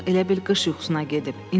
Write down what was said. Uşaq elə bil qış yuxusuna gedib.